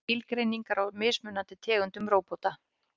Skilgreiningar á mismunandi tegundum róbóta.